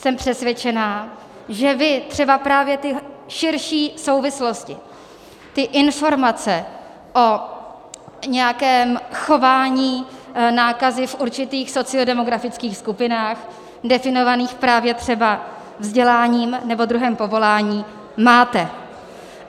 Jsem přesvědčená, že vy třeba právě ty širší souvislosti, ty informace o nějakém chování nákazy v určitých sociodemografických skupinách definovaných právě třeba vzděláním nebo druhem povoláním máte.